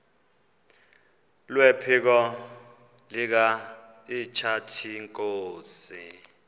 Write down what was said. kwephiko likahintsathi inkosi